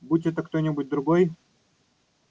будь это кто-нибудь другой